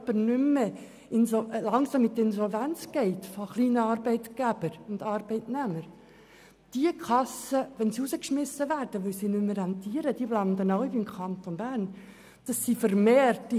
Alle kleinen Verbände oder kleinen Arbeitgeber und Arbeitnehmer, die langsam in die Insolvenz geraten, landen beim Kanton Bern, wenn sie aus ihren Kassen rausgeschmissen werden.